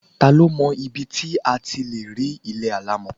Ta ló mọ ibi tí a ti lè rí ilé alámọ̀?